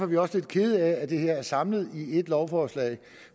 vi også lidt kede af at det her er samlet i ét lovforslag